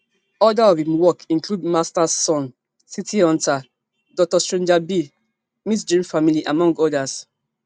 oda of im work include masters sun city hunter doctor stranger be mt dream family among odas